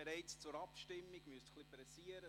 Ist dies im Rat bestritten?